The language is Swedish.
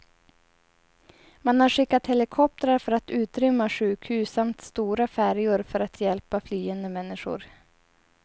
Man har skickat helikoptrar för att utrymma sjukhus samt stora färjor för att hjälpa flyende människor.